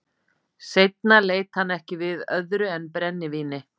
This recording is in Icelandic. Seinna leit hann ekki við öðru en brennivíni.